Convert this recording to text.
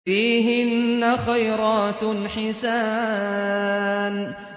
فِيهِنَّ خَيْرَاتٌ حِسَانٌ